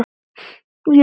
Ég er vant við látinn.